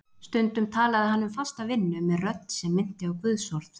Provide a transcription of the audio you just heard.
Stundum talaði hann um fasta vinnu með rödd sem minnti á guðsorð.